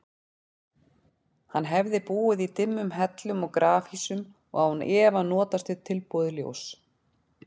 Hann hefði búið í dimmum hellum og grafhýsum og án efa notast við tilbúið ljós.